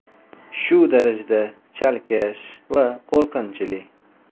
Shu darajada chalkash va qo‘rqinchli.